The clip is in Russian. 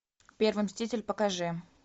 первый мститель покажи